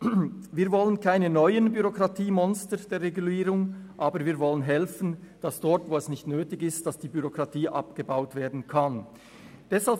Wir wollen keine neuen Bürokratiemonster der Regulierung, aber wir wollen dabei helfen, die Bürokratie dort abzubauen, wo sie nicht nötig ist.